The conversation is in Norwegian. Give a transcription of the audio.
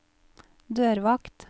dørvakt